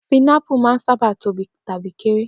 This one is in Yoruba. Pinápù máa ń sábà tóbi tàbí kéré.